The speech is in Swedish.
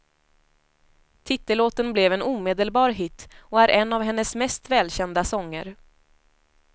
Titellåten blev en omedelbar hit och är en av hennes mest välkända sånger.